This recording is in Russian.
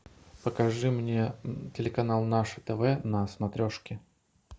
покажи мне телеканал наше тв на смотрешке